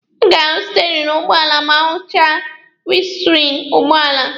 A ga-ahụ steerini ụgbọala ma ahụchaa winiskriini ụgbọala.